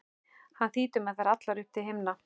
hann þýtur með þær allar upp til himna.